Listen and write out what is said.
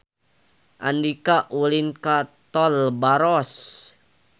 Andika ulin ka Tol Baros